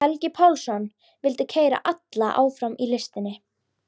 Helgi Pálsson vildi keyra alla áfram í listinni.